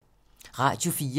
Radio 4